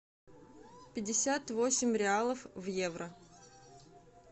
пятьдесят восемь реалов в евро